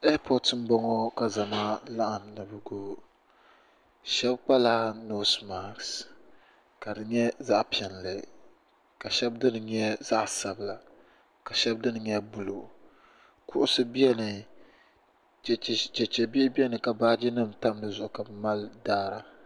Kootu m-boŋo ka zama laɣim na ni bɛ ti wum shɛb' kpala noos mask' ka di nye zaɣ'piɛlli ka shɛb' dini nye zaɣ'sabila ka shɛb' dini nye buluu kuɣusi beni cheche chechebihi beni ka baajinima tam di zuɣu ka bɛ mali daara